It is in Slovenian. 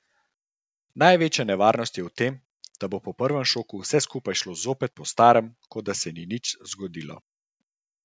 Največja nevarnost je v tem, da bo po prvem šoku vse skupaj šlo zopet po starem, kot da se ni nič zgodilo.